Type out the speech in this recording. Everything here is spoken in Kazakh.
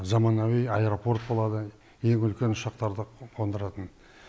заманауи аэропорт болады ең үлкен ұшақтарды қондыратын